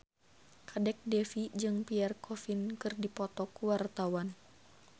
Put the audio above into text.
Kadek Devi jeung Pierre Coffin keur dipoto ku wartawan